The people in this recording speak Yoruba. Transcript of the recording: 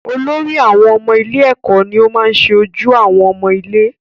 Olórí àwọn ọmọ ilé èkó ni o maá ṣe ojú àwọn ọmọ ilé